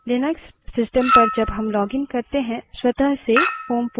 यह विन्डोज़ में folders के समान है